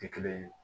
Tɛ kelen ye